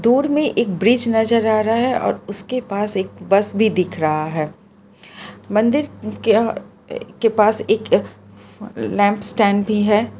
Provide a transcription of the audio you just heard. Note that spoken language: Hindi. दूर में एक ब्रिज नजर आ रहा है और उसके पास एक बस भी दिख रहा है मंदिर के के पास एक लैंप स्टैंड भी है।